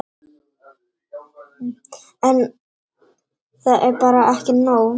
En. það er bara ekki nóg.